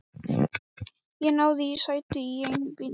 Ég náði í sæti í einum bílnum.